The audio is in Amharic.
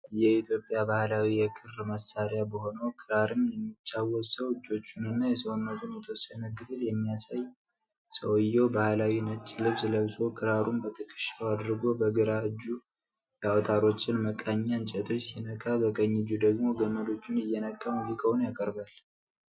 የኢትዮጵያ ባህላዊ የክር መሳሪያ በሆነው ክራርም የሚጫወት ሰው እጆችንና የሰውነቱን የተወሰነ ክፍል የሚያሳይ። ሰውዬው ባህላዊ ነጭ ልብስ ለብሶ ክራሩን በትከሻው አድርጎ በግራ እጁ የአውታሮችን መቃኛ እንጨቶች ሲነካ፣ በቀኝ እጁ ደግሞ ገመዶቹን እየነካ ሙዚቃውን ያቀርባል።